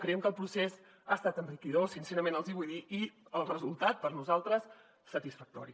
creiem que el procés ha estat enriquidor sincerament els hi vull dir i el resultat per nosaltres satisfactori